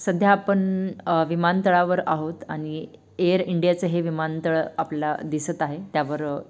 सध्या आपण अ विमानतळावर आहोत आणि एयर इंडियाचे विमानतळ आपल्याला दिसत आहे त्यावर --